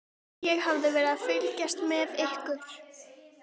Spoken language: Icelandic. Ég hafði verið að fylgjast með ykkur.